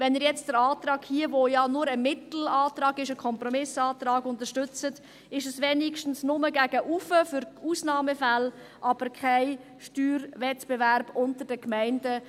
Wenn Sie jetzt diesen Antrag, der ja nur ein Mittelantrag, ein Kompromissantrag ist, unterstützen, ist es wenigstens nur gegen oben für Ausnahmefälle, aber es gibt keinen Steuerwettbewerb unter den Gemeinden.